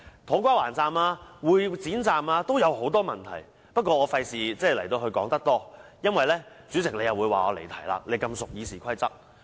土瓜灣站和會展站都有很多問題，但我不會多說，以免主席你說我離題——你這麼熟悉《議事規則》。